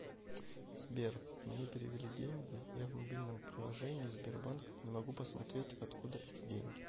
сбер мне перевели деньги я в мобильном приложение сбербанк не могу посмотреть от куда эти деньги